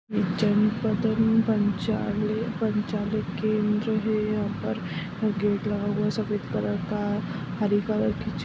जनपद केंद्र है यहाँ पर गेट लगा हुआ है सफेद कलर का हरे कलर की --